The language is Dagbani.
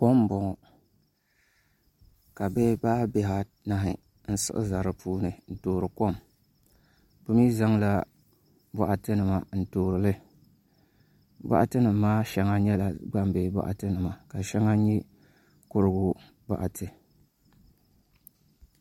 Kom n boŋo ka bihi paai bihi anahi n siɣi ʒɛ di puuni n toori kom bi mii zaŋla boɣati nima n toorili boɣati nim maa shɛŋa nyɛla gbambihi boɣati nima ka shɛŋa nyɛ kurigu boɣati